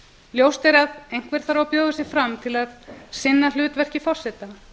ljóst er að einhver þarf að bjóða sig fram til að sinna hlutverki forseta